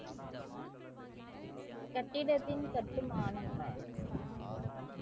கட்டிடத்தின் கட்டுமானம்,